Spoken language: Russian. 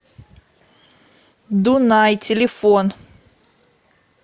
дунай телефон